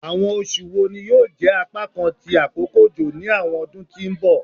Awọn oṣu wo ni yoo jẹ apakan ti akoko ojo ni awọn ọdun ti n bọ?